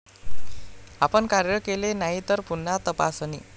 आपण कार्य केले नाही तर, पुन्हा तपासणी.